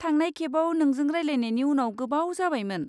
थांनाय खेबआव नोंजों रायलायनायनि उनाव गोबाव जाबायमोन।